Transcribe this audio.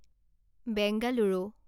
Bengaluru